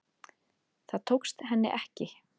Það tókst henni ekki